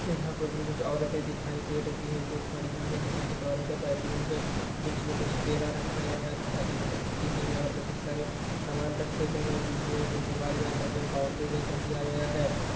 यहाँ पर भी कुछ औरते दिखाई दे रही हैं जो खड़ी हुई है तथा कुछ औरते बैठी हुई हैं। बीच मे कुछ केला रखा गया है तथा ईंटे रखी गयी है और बहुत सारे सामान रखे गए हैं। बीच मे एक दीवाल जैसा कोई बॉउंड्री जैसा दिया गया है।